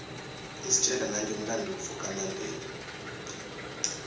istjela nangemlanduvo wamandela